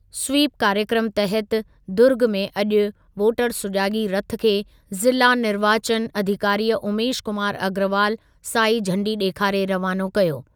SVEEP कार्यक्रमु तहति दुर्ॻ में अॼु वोटर सुजाॻी रथ खे ज़िला निर्वाचन अधिकारीअ उमेश कुमार अग्रवाल साई झंडी ॾेखारे रवानो कयो।